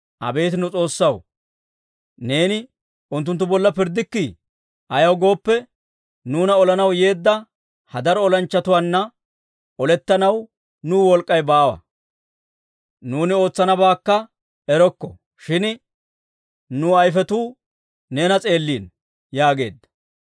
Abeet nu S'oossaw, neeni unttunttu bolla pirddikkii? Ayaw gooppe, nuuna olanaw yeedda ha daro olanchchatuwaanna olettanaw nuw wolk'k'ay baawa. Nuuni ootsanabaakka erokko; shin nu ayfetuu neena s'eellino» yaageedda.